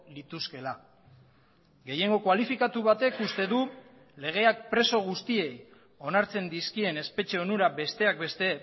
lituzkeela gehiengo kualifikatu batek uste du legeak preso guztiei onartzen dizkien espetxe onura besteak beste